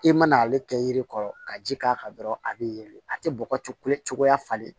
I mana ale kɛ yiri kɔrɔ ka ji k'a kan dɔrɔn a bɛ yɛlɛ a tɛ bɔgɔ coya falen